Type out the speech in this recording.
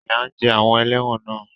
Ìyà ń jẹ àwọn ẹlẹ́wọ̀n náà.